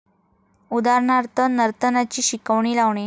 उदाहरणार्थ नर्तनाची शिकवणी लावणे.